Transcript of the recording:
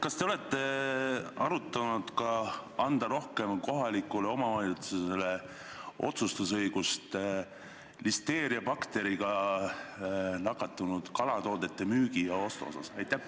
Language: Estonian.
Kas te olete arutanud ka seda, et anda kohalikule omavalitsusele rohkem otsustusõigust listeeriabakteriga nakatunud kalatoodete müügi ja ostu asjus?